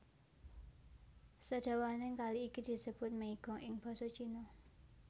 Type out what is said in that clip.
Sadawaning kali iki disebut Meigong ing basa Cina